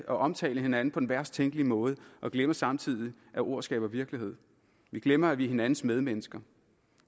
omtale hinanden på den værst tænkelige måde og glemmer samtidig at ord skaber virkelighed vi glemmer at vi er hinandens medmennesker